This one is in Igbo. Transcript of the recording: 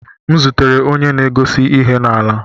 M zutere onye na-egosi ihe na-ala.